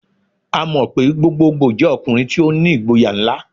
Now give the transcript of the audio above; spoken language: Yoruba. A mọ pe gbogbogboo jẹ ọkunrin ti o ni igboya nla.